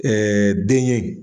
den ye.